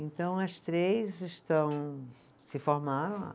Então, as três estão se formaram.